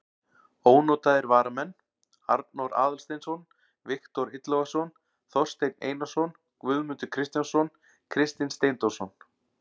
Ónotaðir varamenn: Arnór Aðalsteinsson, Viktor Illugason, Þorsteinn Einarsson, Guðmundur Kristjánsson, Kristinn Steindórsson.